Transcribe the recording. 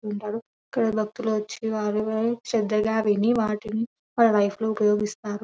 ఉంటారు ఇక్కడ భక్తులు వచ్చి వారిని శ్రద్దగా విని వాటిని వారి లైఫ్ లో ఉపయోగిస్తారు.